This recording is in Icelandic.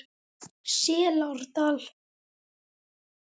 Selárdal